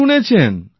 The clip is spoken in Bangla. কি শুনেছেন